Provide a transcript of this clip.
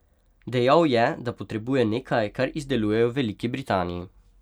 Dejal je, da potrebuje nekaj, kar izdelujejo v Veliki Britaniji.